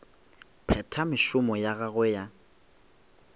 phetha mešomo ya gagwe ya